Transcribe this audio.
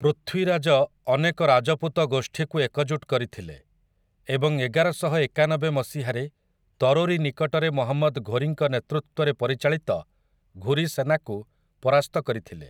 ପୃଥ୍ୱୀରାଜ ଅନେକ ରାଜପୁତ ଗୋଷ୍ଠୀକୁ ଏକଜୁଟ କରିଥିଲେ ଏବଂ ଏଗାରଶହଏକାନବେ ମସିହାରେ ତରୋରୀ ନିକଟରେ ମହମ୍ମଦ୍ ଘୋରୀଙ୍କ ନେତୃତ୍ୱରେ ପରିଚାଳିତ ଘୁରି ସେନାକୁ ପରାସ୍ତ କରିଥିଲେ ।